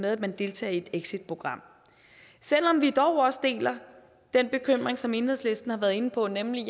at man deltager i et exitprogram selv om vi dog også deler den bekymring som enhedslisten har været inde på nemlig